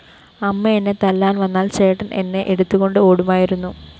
അമ്മ എന്നെ തല്ലാന്‍ വന്നാല്‍ ചേട്ടന്‍ എന്നെ എടുത്തുകൊണ്ട്‌ ഓടുമായിരുന്നു